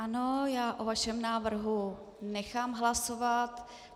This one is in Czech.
Ano, já o vašem návrhu nechám hlasovat.